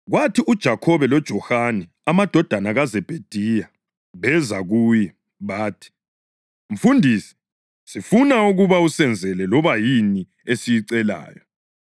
Kwathi uJakhobe loJohane, amadodana kaZebhediya, beza kuye. Bathi, “Mfundisi, sifuna ukuthi usenzele loba yini esiyicelayo.”